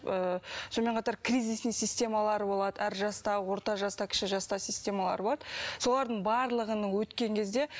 ыыы сонымен қатар кризисный системалар болады әр жаста орта жаста кіші жаста системалар болады солардың барлығының өткен кезде